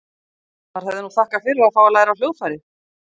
Maður hefði nú þakkað fyrir að fá að læra á hljóðfæri.